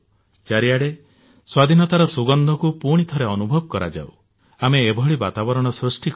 ଚାରିଆଡେ ସ୍ୱାଧୀନତାର ସୁଗନ୍ଧ ବାସ୍ନାକୁ ପୁଣିଥରେ ଅନୁଭବ କରାଯାଉ ଆମେ ଏଭଳି ବାତାବରଣ ସୃଷ୍ଟି କରିବା